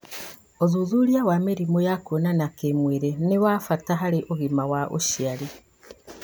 ũthuthuria wa mĩrimũ ya kuonana kĩmwĩrĩ nĩ wa bata harĩ ũgima wa ũciari